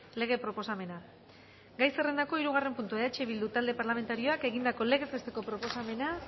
lege proposamena gai zerrendako hirugarren puntua eh bildu talde parlamentarioak egindako legez besteko proposamena